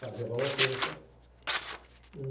Fazia bola ao cesto.